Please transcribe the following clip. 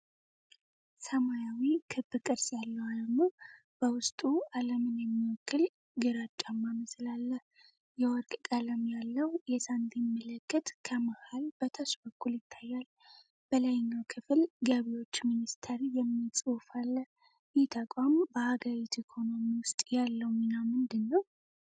ሰማያዊ ክብ ቅርጽ ያለው አርማ። በውስጡ ዓለምን የሚወክል ግራጫማ ምስል አለ። የወርቅ ቀለም ያለው የሳንቲም ምልክት ከመሃል በታች በኩል ይታያል። በላይኛው ክፍል ገቢዎች ሚኒስቴር የሚል ጽሑፍ አለ። ይህ ተቋም በአገሪቱ ኢኮኖሚ ውስጥ ያለው ሚና ምንድን ነው?